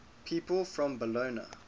people from bologna